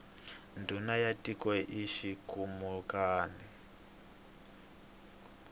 ndhuna ya tiko i xikhumukani